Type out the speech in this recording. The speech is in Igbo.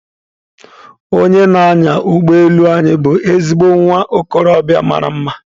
Onye na-anya ụgbọ elu anyị bụ ezigbo nwa okorobịa mara mma.